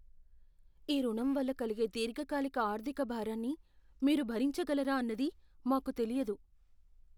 ఈ రుణం వల్ల కలిగే దీర్ఘకాలిక ఆర్థిక భారాన్ని మీరు భరించగలరా అన్నది మాకు తెలియదు.